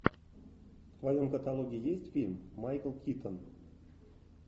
в твоем каталоге есть фильм майкл китон